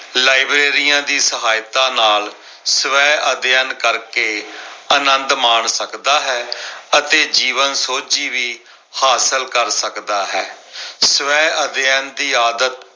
ਲਾਇਬ੍ਰੇਰੀਆਂ ਦੀ ਸਹਾਇਤਾ ਨਾਲ ਸਵੈ ਅਧਿਐਨ ਕਰਕੇ ਆਨੰਦ ਮਾਣ ਸਕਦਾ ਹੈ ਅਤੇ ਜੀਵਨ ਸੋਝੀ ਵੀ ਹਾਸਲ ਕਰ ਸਕਦਾ ਹੈ। ਸਵੈ ਅਧਿਐਨ ਦੀ ਆਦਤ